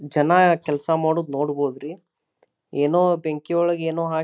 ಜನಾ ಕೆಲಸ ಮಾಡೋದ ನೋಡಬೋದ ರೀ ಏನೋ ಬೆಂಕಿ ಒಳಗ ಏನೋ ಹಾ--